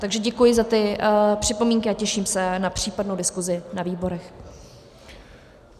Takže děkuji za ty připomínky a těším se na případnou diskusi na výborech.